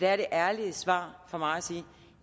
er det ærlige svar for mig at sige